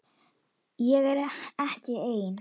Ég er ekki ein.